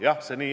Jah, nii see on.